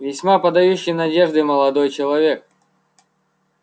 весьма подающий надежды молодой человек